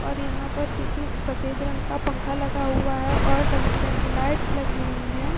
और यहाँ पर देखिए सफ़ेद रंग का पंखा लगा हुआ है और रंग-बिरंगी लाइट्स लगी हुई हैं।